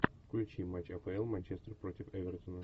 включи матч апл манчестер против эвертона